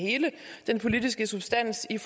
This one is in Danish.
den politiske substans i